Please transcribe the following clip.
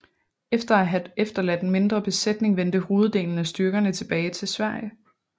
Efter at have efterladt en mindre besætning vendte hoveddelen af styrkerne tilbage til Sverige